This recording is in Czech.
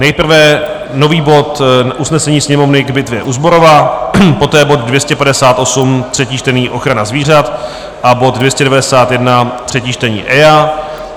Nejprve nový bod usnesení Sněmovny k bitvě u Zborova, poté bod 258, třetí čtení, ochrana zvířat, a bod 291, třetí čtení, EIA.